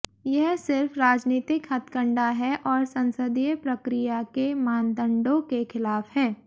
यह सिर्फ राजनीतिक हथकंडा है और संसदीय प्रक्रिया के मानदंडों के खिलाफ है